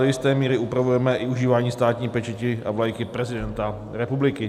Do jisté míry upravujeme i užívání státní pečeti a vlajky prezidenta republiky.